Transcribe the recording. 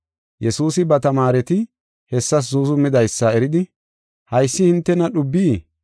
Yesuusi ba tamaareti hessas zuuzumidaysa eridi, “Haysi hintena dhubbii?